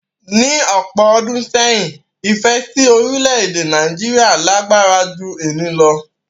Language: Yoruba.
Ní ọ̀pọ̀ ọdún sẹ́yìn, ìfẹ́ si orílẹ̀-èdè Nàìjíríà lágbára ju eyi lo